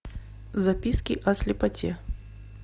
записки о слепоте